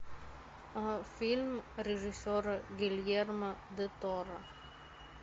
фильм режиссера гильермо дель торо